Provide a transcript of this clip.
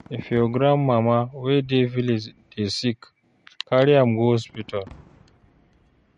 If your grandmama wey dey village dey sick, carry am go hospital.